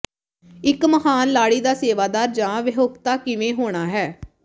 ਇੱਕ ਮਹਾਨ ਲਾੜੀ ਦਾ ਸੇਵਾਦਾਰ ਜਾਂ ਵਿਆਹੁਤਾ ਕਿਵੇਂ ਹੋਣਾ ਹੈ